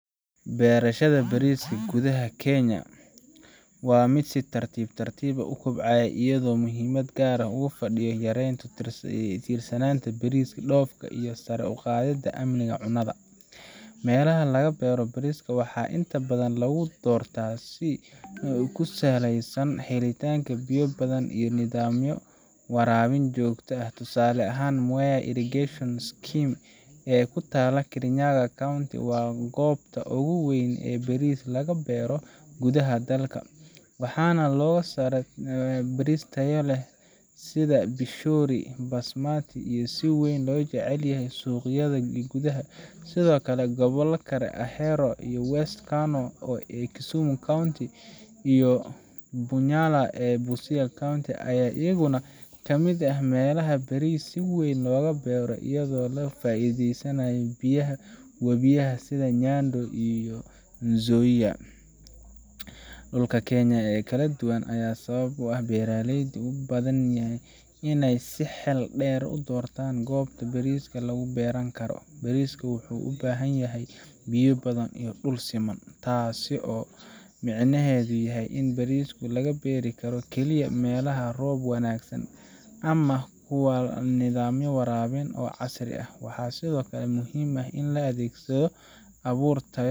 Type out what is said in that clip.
Beerashada bariska gudaha Kenya waa mid si tartiib tartiib ah u kobcaysa, iyadoo muhiimad gaar ah ugu fadhida yareynta ku tiirsanaanta baris dhoofka ah iyo sare u qaadidda amniga cunnada. Meelaha laga beero bariska waxaa inta badan lagu doortaa ku saleysan helitaanka biyo badan ama nidaamyo waraabin oo shaqeynaya. Tusaale ahaan, Mwea Irrigation Scheme ee ku taalla Kirinyaga County waa goobta ugu weyn ee baris laga beero gudaha dalka, waxaana laga soo saaraa baris tayo sare leh sida Pishori [csBasmati oo si weyn loo jecel yahay suuqyada gudaha. Sidoo kale, gobollo kale sida Ahero iyo West Kano ee Kisumu County, iyo Bunyala ee Busia County, ayaa iyaguna kamid ah meelaha baris si weyn looga beero iyadoo laga faa’iideysanayo biyaha wabiyada sida Nyando iyo Nzoia. Dhulka Kenya oo kala duwan ayaa sabab u ah in beeraleydu ay u baahdaan inay si xeel dheer u doortaan goobta ay baris ka beeri karaan. Bariska wuxuu u baahan yahay biyo badan iyo dhul siman, taasoo micnaheedu yahay in baris laga beeri karo kaliya meelaha leh roob wanaagsan ama kuwa leh nidaamyo waraabin oo casri ah. Waxaa sidoo kale muhiim ah in la adeegsado abuur tayo